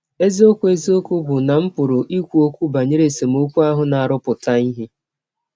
Eziọkwụ Eziọkwụ bụ́ na m pụrụ ikwu ọkwụ banyere esemọkwụ ahụ na - arụpụta ihe.